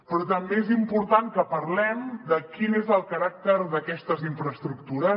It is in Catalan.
però també és important que parlem de quin és el caràcter d’aquestes infraestructures